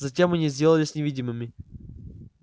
затем они сделались невидимыми